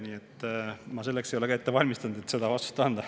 Nii et ma ei ole selleks ette valmistanud, et seda vastust anda.